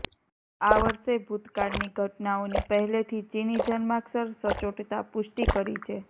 આ વર્ષે ભૂતકાળની ઘટનાઓની પહેલેથી ચિની જન્માક્ષર સચોટતા પુષ્ટિ કરી છે